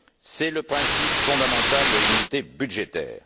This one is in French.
C'est le principe fondamental de l'unité budgétaire.